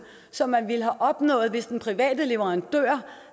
som man ville have opnået hvis den private leverandør